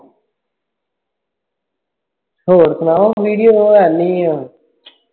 ਹੋਰ ਸੁਣਾ ਮਨੀ ਦੀ ਉਹ ਗੱਲ ਬਾਤ ਨਹੀਂ ਆ